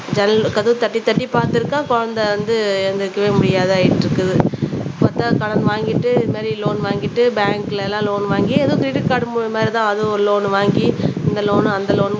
ஜன்னல் கதவை தட்டி தட்டி பாத்திருக்கா குழந்தை வந்து எந்திரிக்கவே முடியாது ஆயிட்டிருக்குது பத்தாது கடன் வாங்கிட்டு இந்த மாதிரி லோன் வாங்கிட்டு பேங்க்ல எல்லாம் லோன் வாங்கி ஏதோ கிரெடிட் கார்டு மாதிரிதான் அது லோன் வாங்கி இந்த லோன் அந்த லோன்